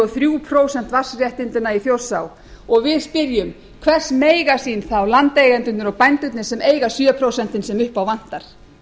og þrjú prósent vatnsréttindanna í þjórsá og við spyrjum hvers mega sín þá landeigendurnir og bænduirnr sem eiga sjö prósentin sem upp á vantar